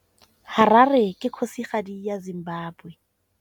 Harare ke kgosigadi ya Zimbabwe.